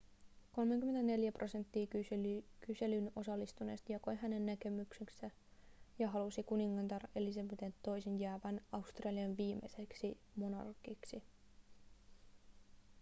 34 prosenttia kyselyyn osallistuneista jakoi hänen näkemyksensä ja halusi kuningatar elisabeth ii:n jäävän australian viimeiseksi monarkiksi